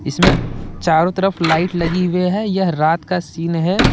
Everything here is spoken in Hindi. इसमें चारो तरफ लाइट लगी हुई है यह रात का सीन है।